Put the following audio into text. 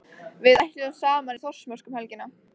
Við ætlum saman í Þórsmörk um helgina.